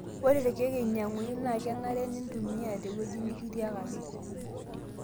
ore irkeek oinyanguni naa kenare nintumiya tewueji nikitiakaki